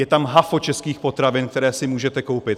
Je tam hafo českých potravin, které si můžete koupit.